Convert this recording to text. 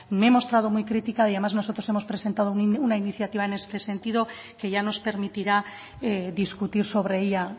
me he mostrado muy crítica y además nosotros hemos presentado una iniciativa en este sentido que ya nos permitirá discutir sobre ella